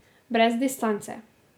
Brez distance.